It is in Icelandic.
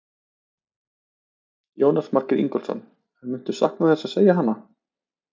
Jónas Margeir Ingólfsson: En muntu sakna þess að segja hana?